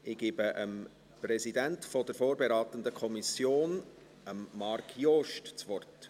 Ich gebe dem Präsidenten der vorberatenden Kommission, Marc Jost, das Wort.